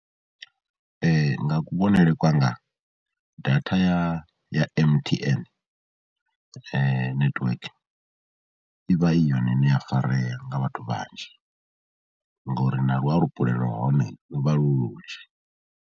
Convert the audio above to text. Nga kuvhonele kwanga data ya ya M_T_N netiweke i vha i yone ine ya farea nga vhathu vhanzhi, ngori na luapulelo lwa hone lu vha lu lunzhi.